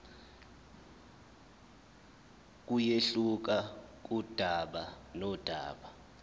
kuyehluka kudaba nodaba